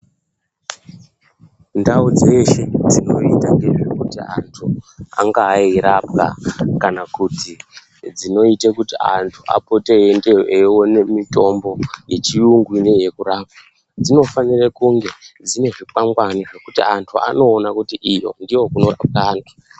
Ndau dzeshe dzinoita ngezvekuti antu angaa eirapwa kana kuti dzinoite kuti antu apote eiendeyo eione mitombo yechiyungu yekurapa dzinofanire kunge dzine zvikwangwani zvekuti antu anoona kuti iyo ndiyokunorapwa antu.